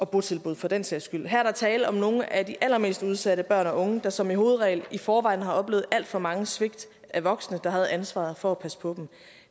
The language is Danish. botilbud for den sags skyld her er der tale om nogle af de allermest udsatte børn og unge der som hovedregel i forvejen har oplevet alt for mange svigt af voksne der havde ansvaret for at passe på dem